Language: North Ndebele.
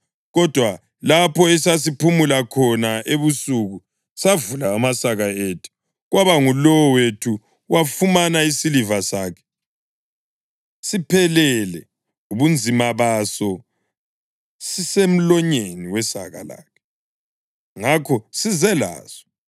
Kodwa lapho esaphumula khona ebusuku savula amasaka ethu, kwaba ngulowo wethu wafumana isiliva sakhe, siphelele ubunzima baso, sisemlonyeni wesaka lakhe. Ngakho size laso.